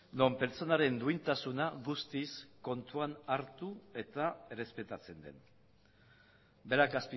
non pertsonaren duintasuna guztiz kontuan hartu eta errespetatzen den berak